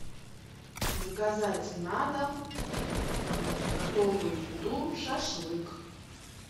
заказать на дом готовую еду шашлык